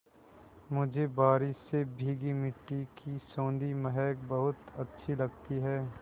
मुझे बारिश से भीगी मिट्टी की सौंधी महक बहुत अच्छी लगती है